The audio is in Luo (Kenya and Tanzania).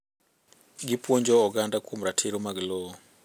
Gipuonjo oganda kuom ratiro mag lowo.